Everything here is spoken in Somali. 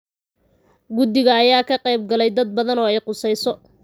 Guddiga ayaa ka qeyb galay dad badan oo ay khuseyso.